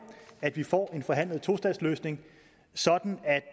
at vi får en forhandlet tostatsløsning sådan at